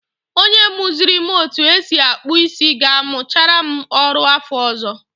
Onye muziri m otu esi akpụ isi ga-amuchara m ọrụ afọ ọzọ.